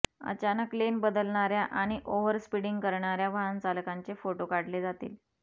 अचानक लेन बदलणाऱया आणि ओव्हर स्पीडिंग करणाऱया वाहनचालकांचे फोटो काढले जातील